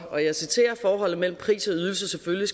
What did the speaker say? og jeg citerer forholdet mellem pris og ydelse selvfølgelig